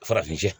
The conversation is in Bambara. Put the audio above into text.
Farafin